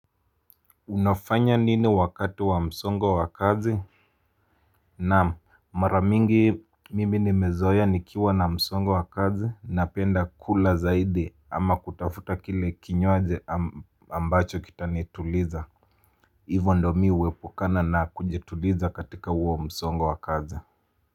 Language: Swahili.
Unafanya nini wakati wa msongo wa kazi? Naam, mara mingi mimi nimezoea nikiwa na msongo wa kazi napenda kula zaidi ama kutafuta kile kinywaji ambacho kitanituliza. Hivo ndo mi huepuka na kujituliza katika huo msongo wa kazi.